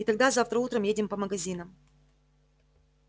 и тогда завтра утром едем по магазинам